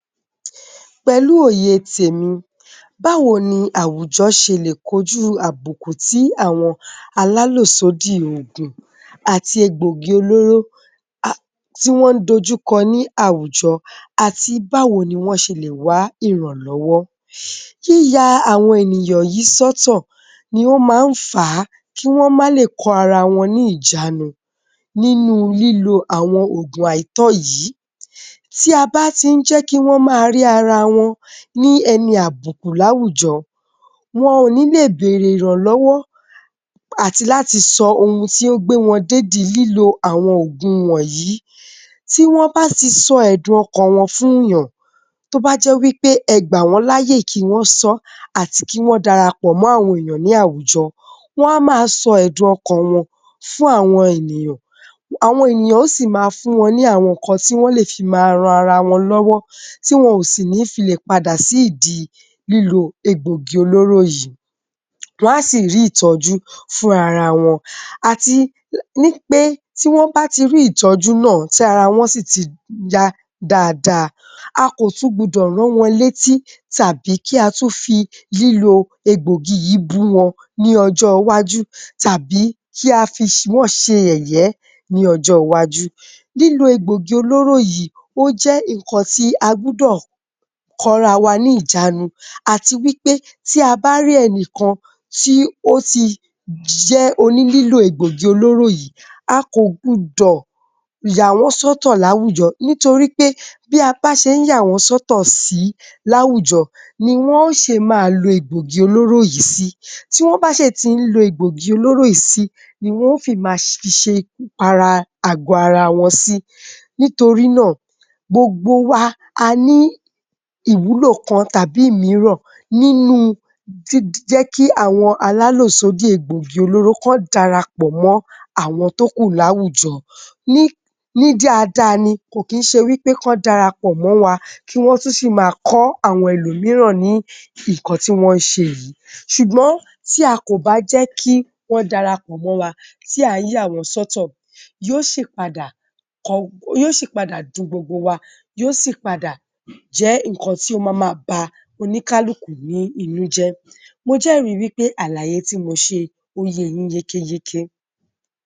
Pẹ̀lú òye tèmi, báwo ni àwùjọ ṣe lè kojú àbùkù tí àwọn alálòsódì ògùn àti egbògi-olóró tí wọ́n ń dojú kọ ní àwùjọ àti báwo ni wọ́n ṣe lè wá ìrànlọ́wọ́? Yíya àwọn ènìyàn yìí sọ́tọ̀ ni ó máa ń fà á kí wọ́n má lè kọ ara wọn ní ìjánu nínú lílo àwọn ògùn àìtọ́ yìí. Tí a bá tí ń jẹ́ kí wọ́n ma rí ara wọn ni ẹni àbùkù láwùjọ, wọn ò ní lè bèèrè ìrànlọ́wọ́ àti láti sọ ohun tí ó gbe wọn dédi lílo àwọn ògùn wọnyìí. Tí wọ́n bá ti sọ ẹ̀dùn-ọkàn wọn fún èèyàn, tó bá jẹ́ wí pé ẹ gbà wọ́n láàyè kí wọ́n sọ, àti kí wọ́n darapọ̀ mọ àwọn èèyàn ní àwùjọ, wọ́n á ma sọ ẹ̀dùn-ọkàn wọn fún àwọn ènìyàn. Àwọn ènìyàn ó sì máa fún wọn ní àwọn nǹkan tí wọ́n lè fi máa ran ara wọn lọ́wọ́ tí wọn ò sì ní filè padà sí ìdi lílo egbògi olóró yìí. Wọ́n á sì rí ìtọ́jú fún ara wọn. Àti ní pé, tí wọ́n bá ti rí ìtọ́jú náà, tí ara wọn sì ti yá dáadáa, a kò tún gbudọ̀ rán wọn létí tàbí kí a tún fi lílo egbògi yìí bú wọn ní ọjọ́-iwájú tàbí kí a fi wọn ṣe yẹ̀yẹ́ ní ọjọ́-iwájú. Lílo egbògi olóró yìí, ó jẹ́ nǹkan tí a gbudọ̀ kóra wá ní ìjánu àti wí pé, tí a bá rí ẹnìkan tí ó tí jẹ́ onílílò egbògi-olóró yìí, a kò gbudọ̀ yàwọ́n sọ́tọ̀ láwùjọ nítorí pé bí a bá ṣé ń yàwọ́n sọ́tọ̀ sì í láwùjọ, ni wọ́n ó ṣe máa lo egbògi-olóró yìí sí. Tí wọ́n bá ṣè tí ń lo egbògi-olóró yìí sí niwọ́n fi máa ṣe ikú para àgò ara wọn sí. Nítorí náà, gbogbo wa, a ní ìwúlò kan tàbí ìmíràn nínú jíjẹ́kí àwọn alálòsódì egbògi-olóró kan darapọ̀ mọ́ àwọn tókù láwùjọ. Ní dáadáa ni, kò kí ń ṣe wí pé kán darapọ̀ mọ́ wa, kí wọ́n tún ṣì máa kọ́ àwọn ẹlòmíràn ní nǹkan tí wọ́n ń ṣe yìí. Ṣùgbọ́n tí a kò bá jẹ́ kí wọ́n darapọ̀ mọ wa, tí à ń yà wọ́n sọ́tọ̀, yó sì padà dun gbogbo wa, yóò sì padà jẹ́ nǹkan tí ó máa ba oníkálukú ní inú jẹ́. Mo jẹ́rìí wí pé àlàyé tí mo ṣe, ó ye yín yékéyéké